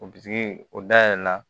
O bitigi o da yɛlɛla